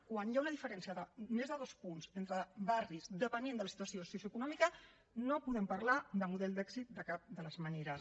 quan hi ha una diferència de més de dos punts entre barris depenent de la situació socioeconòmica no podem parlar de model d’èxit de cap de les maneres